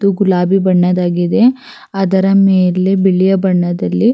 ಮತ್ತು ಗುಲಾಬಿ ಬಣ್ಣದಾಗಿದೆ ಅದರ ಮೇಲೆ ಬಿಳಿಯ ಬಣ್ಣದಲ್ಲಿ.